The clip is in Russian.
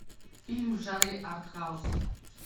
фильм в жанре арт хаус